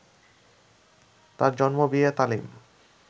তার জন্ম, বিয়ে, তালিম